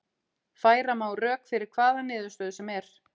Færa má rök fyrir hvaða niðurstöðu sem er.